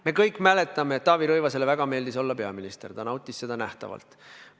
Me kõik mäletame, et Taavi Rõivasele väga meeldis olla peaminister, ta nautis seda silmanähtavalt.